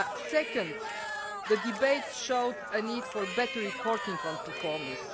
Second, the debate showed a need for better reporting on performance.